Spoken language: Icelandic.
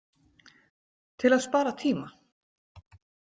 Til að spara tíma.